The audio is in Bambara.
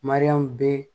Mariyamu be